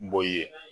Bɔ i ye